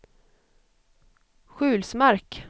Sjulsmark